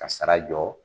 Ka sara jɔ